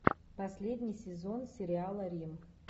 последний сезон сериала рим